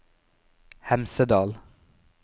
Hemsedal